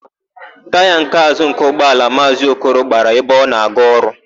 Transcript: Taya nke àzụ́ nke ụgbọala Maazị Okoro gbara ebe ọ na-aga ọrụ.